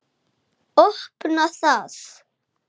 Opna það.